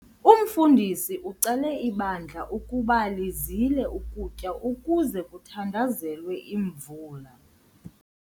Umfundisi ucele ibandla ukuba lizile ukutya ukuze kuthandazelwe imvula.